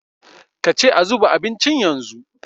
ka ce a zuba abincin yanzu?